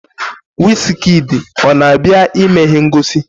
Wizkịdi ọ na-abịa ime ihe ngosi?